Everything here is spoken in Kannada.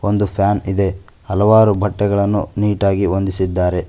ಒಂದು ಫ್ಯಾನ್ ಇದೆ ಹಲವಾರು ಬಟ್ಟೆಗಳನ್ನು ನೀಟಾಗಿ ಹೊಂದಿಸಿದ್ದಾರೆ.